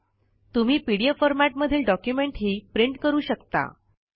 तुम्ही PDF format मधील डॉक्युमेंटही प्रिंट करू शकता